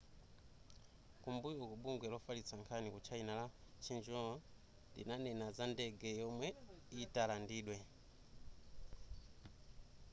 kumbuyoku bungwe lofalitsa nkhani ku china la xinhua linanena za ndege yomwe italandidwe